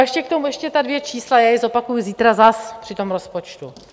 A ještě k tomu, ještě ta dvě čísla, já je zopakuji zítra zas při tom rozpočtu.